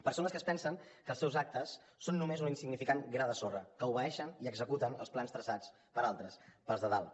persones que es pensen que els seus actes són només un insignificant gra de sorra que obeeixen i executen els plans traçats per altres pels de dalt